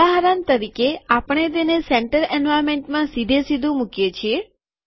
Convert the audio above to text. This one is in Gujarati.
ઉદાહરણ તરીકે આપણે તેને સેન્ટર એન્વાર્નમેન્ટમાં સીધેસીધું મુકીએ છીએ